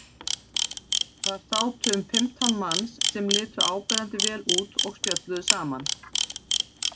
Þar sátu um fimmtán manns sem litu áberandi vel út og spjölluðu saman.